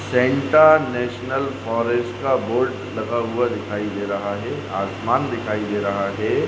Santa National Forest का board लगा हुआ दिखाई दे रहा है आसमान दिखाई दे रहा है।